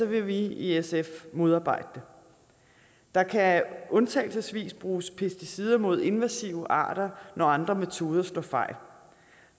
vil vi i sf modarbejde det der kan undtagelsesvis bruges pesticider mod invasive arter når andre metoder slå fejl